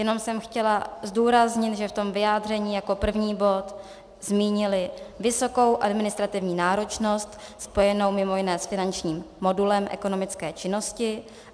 Jenom jsem chtěla zdůraznit, že v tom vyjádření jako první bod zmínili vysokou administrativní náročnost spojenou mimo jiné s finančním modulem ekonomické činnosti.